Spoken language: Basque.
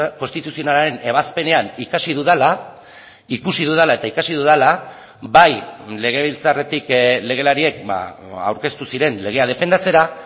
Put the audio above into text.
konstituzionalaren ebazpenean ikasi dudala ikusi dudala eta ikasi dudala bai legebiltzarretik legelariek aurkeztu ziren legea defendatzera